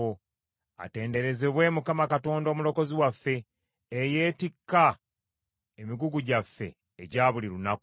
Atenderezebwe Mukama, Katonda omulokozi waffe, eyeetikka emigugu gyaffe egya buli lunaku.